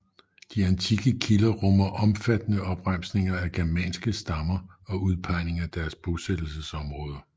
De antikke kilder rummer omfattende opremsninger af germanske stammer og udpegning af deres bosættelsesområder